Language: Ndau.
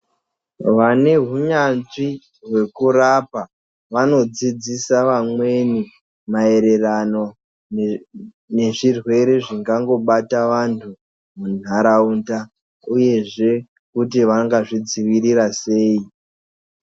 Vane hunyanzvi hwekurapa vano dzidzisa vamweni ma yererano nezvi rwere zvingango bata vandu munharaunda uyezve kuti vangazvi dzivirira sei.